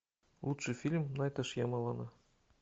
лучший фильм найта шьямалана